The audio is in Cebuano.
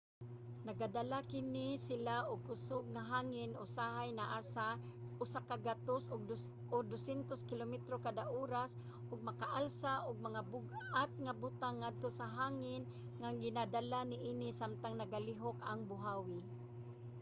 nagadala kini sila og kusog nga hangin usahay naa sa 100-200 kilometro kada oras ug makaalsa og mga bug-at nga butang ngadto sa hangin nga ginadala niini samtang nagalihok ang buhawi